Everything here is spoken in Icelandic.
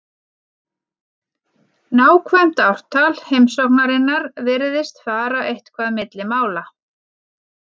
Nákvæmt ártal heimsóknarinnar virðist fara eitthvað milli mála.